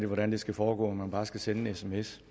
hvordan det skal foregå om man bare skal sende en sms